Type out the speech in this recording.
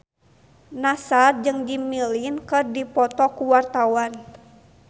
Nassar jeung Jimmy Lin keur dipoto ku wartawan